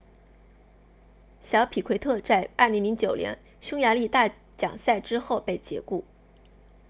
小皮奎特在2009年匈牙利大奖赛之后被解雇